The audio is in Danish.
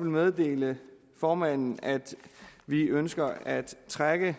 meddele formanden at vi ønsker at trække